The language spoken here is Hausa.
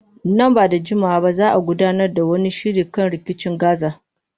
Nan ba da jimawa ba za a gudanar da wani shiri kan rikicin Gaza.